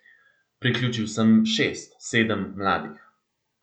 Priključil sem šest, sedem mladih.